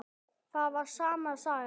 Það var sama sagan.